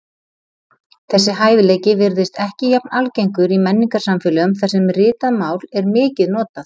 Þessi hæfileiki virðist ekki jafn algengur í menningarsamfélögum þar sem ritað mál er mikið notað.